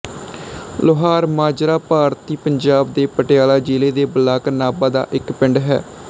ਲੋਹਾਰ ਮਾਜਰਾ ਭਾਰਤੀ ਪੰਜਾਬ ਦੇ ਪਟਿਆਲਾ ਜ਼ਿਲ੍ਹੇ ਦੇ ਬਲਾਕ ਨਾਭਾ ਦਾ ਇੱਕ ਪਿੰਡ ਹੈ